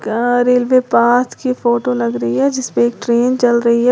यहाँ railway path की photo लग रही है जिसमें एक ट्रेन चल रही है।